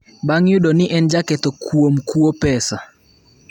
bang’ yudo ni en jaketho kuom kuo pesa